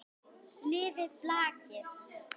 Lifi blakið!